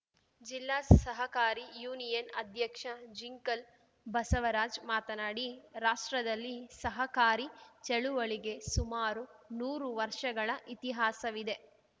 ಜಿಲ್ಲಾ ಸಹಕಾರಿ ಯೂನಿಯನ್‌ ಅಧ್ಯಕ್ಷ ಜಿಂಕಲ್‌ ಬಸವರಾಜ್‌ ಮಾತನಾಡಿ ರಾಷ್ಟ್ರದಲ್ಲಿ ಸಹಕಾರಿ ಚಳುವಳಿಗೆ ಸುಮಾರು ನೂರು ವರ್ಷಗಳ ಇತಿಹಾಸವಿದೆ